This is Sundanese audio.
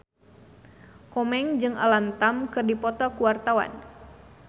Komeng jeung Alam Tam keur dipoto ku wartawan